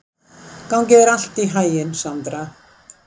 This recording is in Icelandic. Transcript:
Gangi þér allt í haginn, Sandra.